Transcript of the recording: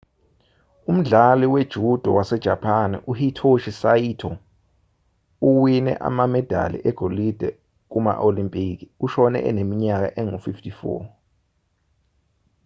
umdlali we-judo wasejapani uhitoshi saito owine amamedali egolide kuma-olimpiki ushone eneminyaka engu-54